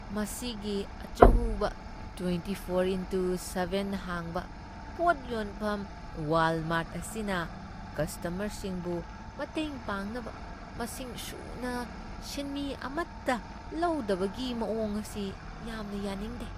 ꯃꯁꯤꯒꯤ ꯑꯆꯧꯕ twenty four into seven ꯍꯥꯡꯕ ꯄꯣꯠ ꯌꯣꯟꯐꯝ ꯋꯥꯜꯃꯥꯔꯠ ꯑꯁꯤꯅ ꯀꯁꯇꯃꯔꯁꯤꯡꯕꯨ ꯃꯇꯦꯡ ꯄꯥꯡꯅꯕ ꯃꯁꯤꯡ ꯁꯨꯅ ꯁꯤꯟꯃꯤ ꯑꯃꯠꯇ ꯂꯧꯗꯕꯒꯤ ꯃꯑꯣꯡ ꯑꯁꯤ ꯌꯥꯝꯅ ꯌꯥꯅꯤꯡꯗꯦ ꯫